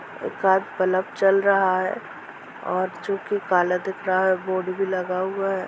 एक आद बलब जल रहा है और जो की काला दिख रहा है बोर्ड भी लगा हुआ है।